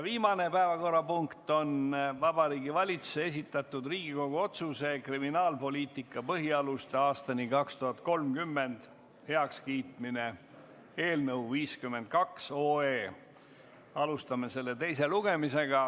Viimane päevakorrapunkt on Vabariigi Valitsuse esitatud Riigikogu otsuse "„Kriminaalpoliitika põhialused aastani 2030“ heakskiitmine" eelnõu 52 teine lugemine.